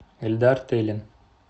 эльдар тылин